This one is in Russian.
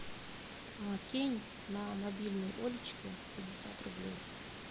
кинь на мобильный олечки пятьдесят рублей